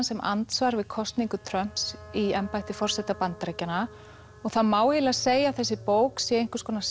sem andsvar við kosningu Trumps í embætti forseta Bandaríkjanna og það má eiginlega segja að þessi bók sé einhvers konar